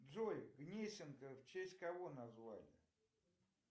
джой гнесинка в честь кого название